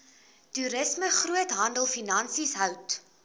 toerisme groothandelfinansies hout